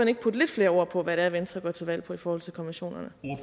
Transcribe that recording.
ikke putte lidt flere ord på hvad venstre går til valg på i forhold til konventionerne